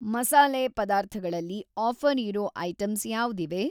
ಮಸಾಲೆ ಪದಾರ್ಥಗಳಲ್ಲಿ ಆಫ಼ರ್‌ ಇರೋ ಐಟಂಸ್‌ ಯಾವ್ದಿವೆ?